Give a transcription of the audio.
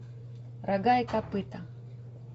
рога и копыта